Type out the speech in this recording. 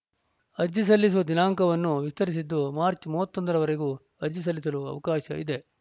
ಅರ್ಜಿ ಸಲ್ಲಿಸುವ ದಿನಾಂಕವನ್ನು ವಿಸ್ತರಿಸಿದ್ದು ಮಾರ್ಚ್ ಮೂವತ್ತ್ ಒಂದರವರೆಗೂ ಅರ್ಜಿ ಸಲ್ಲಿಸಲು ಅವಕಾಶ ಇದೆ